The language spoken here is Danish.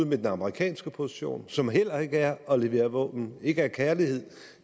med den amerikanske position som heller ikke er at levere våben ikke af kærlighed